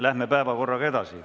Läheme päevakorraga edasi.